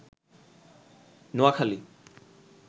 Noakhali